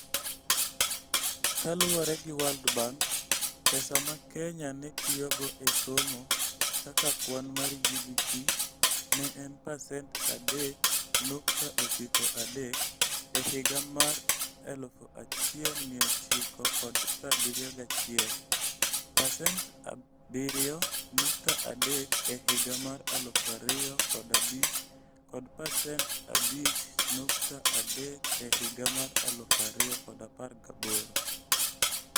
Kaluwore gi World Bank, pesa ma Kenya ne tiyogo e somo kaka kwan mar GDP ne en pasent 3.93 e higa mar 1971, pasent 7.3 e higa mar 2005 kod pasent 5.3 e higa mar 2018.